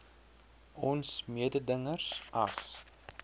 ons mededingers as